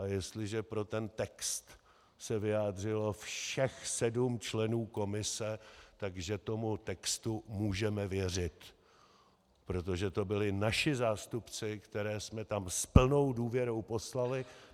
A jestliže pro ten text se vyjádřilo všech sedm členů komise, takže tomu textu můžeme věřit, protože to byli naši zástupci, které jsme tam s plnou důvěrou poslali.